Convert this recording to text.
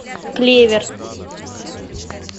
клевер